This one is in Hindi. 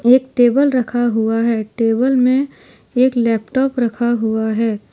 एक टेबल रखा हुआ है टेबल में एक लैपटॉप रखा हुआ है ।